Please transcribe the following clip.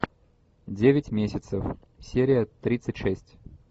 девять месяцев серия тридцать шесть